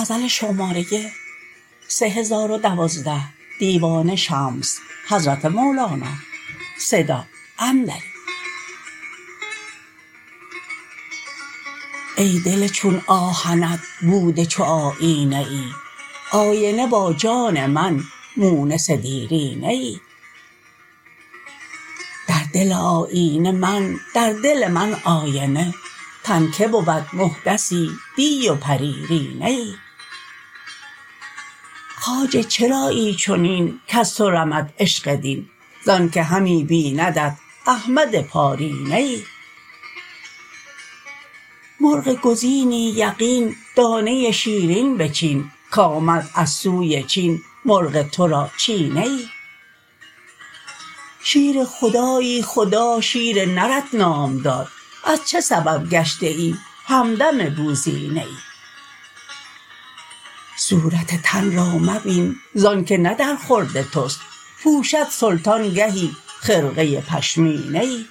ای دل چون آهنت بوده چو آیینه ای آینه با جان من مونس دیرینه ای در دل آیینه من در دل من آینه تن کی بود محدثی دی و پریرینه ای خواجه چرایی چنین کز تو رمد عشق دین زانک همی بیندت احمد پارینه ای مرغ گزینی یقین دانه شیرین بچین کآمد از سوی چین مرغ تو را چینه ای شیر خدایی خدا شیر نرت نام داد از چه سبب گشته ای همدم بوزینه ای صورت تن را مبین زانک نه درخورد توست پوشد سلطان گهی خرقه پشمینه ای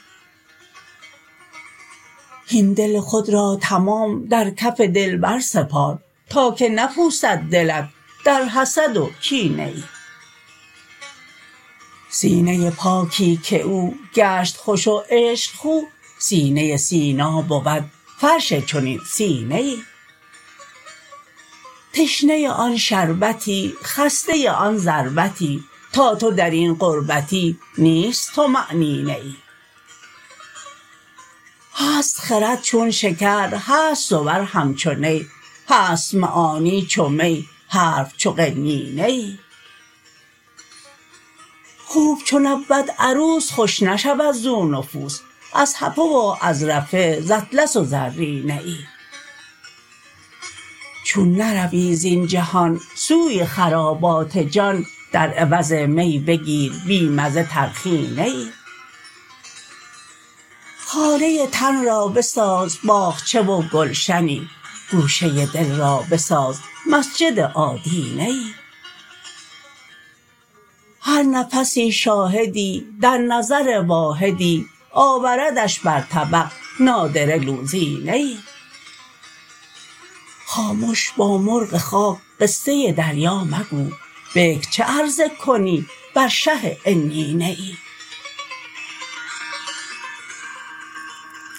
هین دل خود را تمام در کف دلبر سپار تا که نپوسد دلت در حسد و کینه ای سینه پاکی که او گشت خوش و عشق خو سینه سینا بود فرش چنین سینه ای تشنه آن شربتی خسته آن ضربتی تا تو در این غربتی نیست طمأنینه ای هست خرد چون شکر هست صور همچو نی هست معانی چو می حرف چو قنینه ای خوب چو نبود عروس خوش نشود زو نفوس از حفه و از رفه ز اطلس و زرینه ای چون نروی زین جهان خوی خرابات جان در عوض می بگیر بی مزه ترخینه ای خانه تن را بساز باغچه و گلشنی گوشه دل را بساز مسجد آدینه ای هر نفسی شاهدی در نظر واحدی آوردش بر طبق نادره لوزینه ای خامش با مرغ خاک قصه دریا مگو بکر چه عرضه کنی بر شه عنینه ای